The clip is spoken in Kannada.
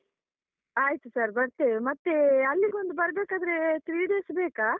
ಆಯ್ತು sir ಬರ್ತೇವೆ ಮತ್ತೆ ಅಲ್ಲಿಗೊಂದು ಬರ್ಬೇಕಾದ್ರೆ three days ಬೇಕಾ?